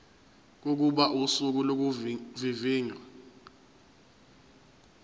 kokuba usuku lokuvivinywa